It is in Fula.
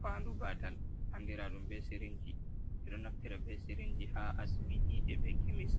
Fandu batal andiraɗum be sirinji ɓeɗo naftira be sirinji ha asibiti je be kemis